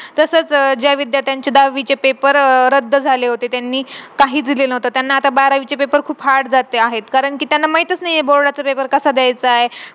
तसच ज्या विद्यार्थ्यांचे दहावीचे paper रद्द झाले होते त्यांनी काहीच दिलेला नव्हता त्यांना आता बारावीचे paper खूप hard जाते आहे कारण कि त्यांना माहितीच नाही आहे कि board आ चा paper कसा द्यायचा आहे